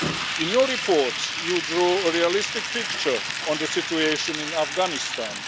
In your report, you draw a realistic picture of the situation in Afghanistan.